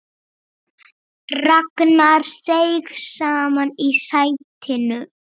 Ragnar seig saman í sætinu.